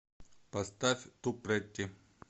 поставь ту претти